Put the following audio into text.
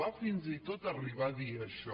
va fins i tot arribar a dir això